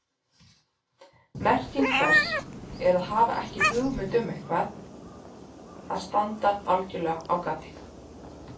Merking þess er að hafa ekki hugmynd um eitthvað, að standa algjörlega á gati.